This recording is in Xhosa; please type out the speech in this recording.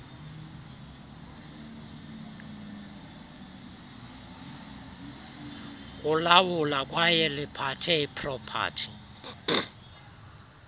kulawula kwayeliphathe ipropathi